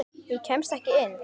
Ég kemst ekki inn.